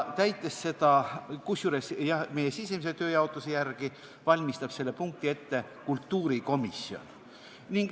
Kusjuures, jah, meie sisemise tööjaotuse järgi valmistab selle punkti ette kultuurikomisjon.